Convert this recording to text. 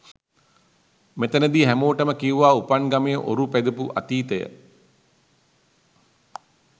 මෙතැනදී හැමෝටම කිව්වා උපන් ගමේ ඔරු පැදපු අතීතය.